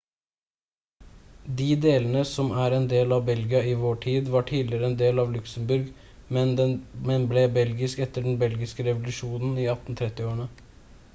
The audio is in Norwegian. de delene som er en del av belgia i vår tid var tidligere en del av luxembourg men ble belgisk etter den belgiske revolusjonen i 1830-årene